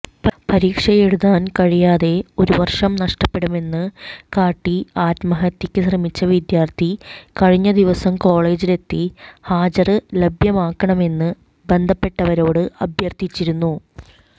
പരീക്ഷയെഴുതാന് കഴിയാതെ ഒരുവര്ഷം നഷ്ടപ്പെടുമെന്ന് കാട്ടി ആത്മഹത്യക്ക് ശ്രമിച്ച വിദ്യാര്ഥി കഴിഞ്ഞദിവസം കോളേജിലെത്തി ഹാജര് ലഭ്യമാക്കണമെന്ന് ബന്ധപ്പെട്ടവരോട് അഭ്യര്ഥിച്ചിരുന്നു